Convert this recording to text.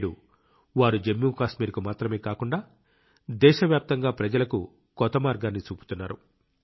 నేడు వారు జమ్మూ కాశ్మీర్కు మాత్రమే కాకుండా దేశవ్యాప్తంగా ప్రజలకు కొత్త మార్గాన్ని చూపుతున్నారు